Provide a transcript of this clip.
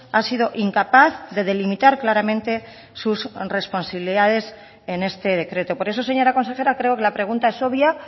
ha sido incapaz de delimitar claramente sus responsabilidades en este decreto por eso señora consejera creo que la pregunta es obvia